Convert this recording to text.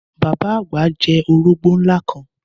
Bàbá àgbà jẹ orógbó ńlá kan